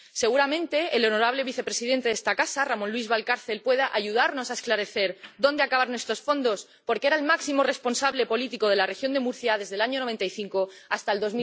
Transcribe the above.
Seguramente, el honorable vicepresidente de esta casa, Ramón Luis Valcárcel, pueda ayudarnos a esclarecer dónde acabaron estos fondos, porque era el máximo responsable político de la región de Murcia desde el año 1995 hasta el